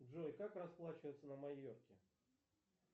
джой как расплачиваться на майорке